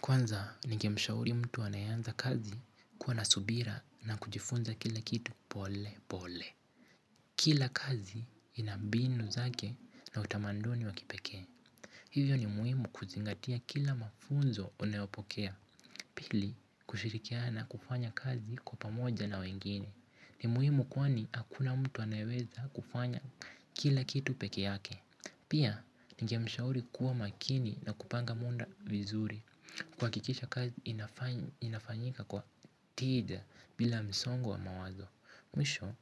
Kwanza, ningemshauri mtu aneanza kazi kuwa na subira na kujifunza kila kitu pole pole. Kila kazi ina mbinu zake na utamaduni wa kipekee. Hivyo ni muhimu kuzingatia kila mafunzo unayopokea. Pili, kushirikian na kufanya kazi kwa pamoja na wengine. Ni muhimu kwani hakuna mtu anayeweza kufanya kila kitu peke yake. Pia, ningemshauri kuwa makini na kupanga muda vizuri. Kuhakikisha kazi inafanyika kwa tija bila msongo wa mawazo. Mwisho,